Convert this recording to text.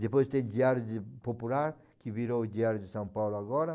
Depois tem o Diário de Popular, que virou o Diário de São Paulo agora.